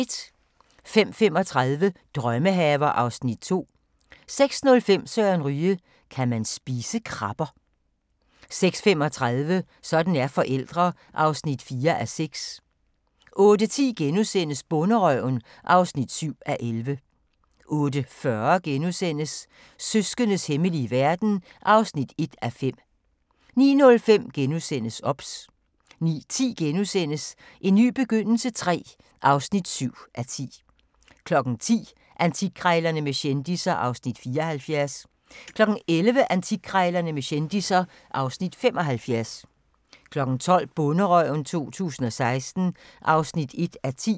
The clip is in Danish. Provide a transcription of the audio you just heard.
05:35: Drømmehaver (Afs. 2) 06:05: Søren Ryge: Kan man spise krabber? 06:35: Sådan er forældre (4:6) 08:10: Bonderøven (7:11)* 08:40: Søskendes hemmelige verden (1:5)* 09:05: OBS * 09:10: En ny begyndelse III (7:10)* 10:00: Antikkrejlerne med kendisser (Afs. 74) 11:00: Antikkrejlerne med kendisser (Afs. 75) 12:00: Bonderøven 2016 (1:10)